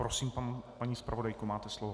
Prosím, paní zpravodajko, máte slovo.